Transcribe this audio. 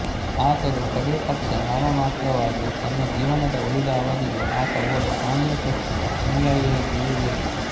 ಆದರೂ ಕಡೇ ಪಕ್ಷ ನಾಮಮಾತ್ರವಾಗಿ ತನ್ನ ಜೀವನದ ಉಳಿದ ಅವಧಿಗೆ ಆತ ಓರ್ವ ಆಂಗ್ಲ ಚರ್ಚಿನ ಅನುಯಾಯಿಯಾಗಿಯೇ ಉಳಿದ